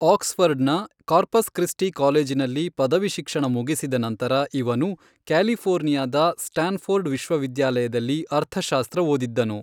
Axe ಫರ್ಢನ Corpus Christi ಕಾಲೇಜಿನಲ್ಲಿ ಪದವಿ ಶಿಕ್ಷಣ ಮುಗಿಸಿದ ನಂತರ ಇವನು ಕ್ಯಾಲಿಫೋರ್ನಿಯಾದ ಸ್ಟಾನ್ ಫೋರ್ಡ್ ವಿಶ್ವವಿದ್ಯಾಲಯದಲ್ಲಿ ಅರ್ಥಶಾಸ್ತ್ರ ಓದಿದ್ದನು.